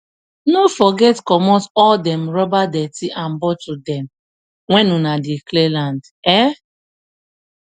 no forget comot all dem rubber dirty and bottle dem when una dey clear land um